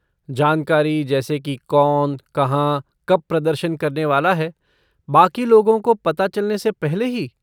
जानकारी जैसे कि कौन, कहाँ, कब प्रदर्शन करने वाला है, बाक़ी लोगों को पता चलने से पहले ही?